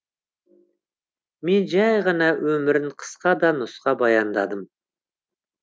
мен жәй ғана өмірін қысқа да нұсқа баяндадым